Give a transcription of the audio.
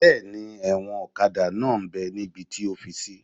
Bẹ́ẹ̀ni, ẹ̀wọ̀n ọ̀kadà náà m bẹ́ níbi tí o fi sí